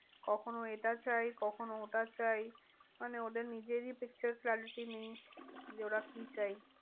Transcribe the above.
কখনো এটা চাই, কখনো ওটা চাই, মানে ওদের নিজেরই picture clarity নেই যে, ওরা কি চাই?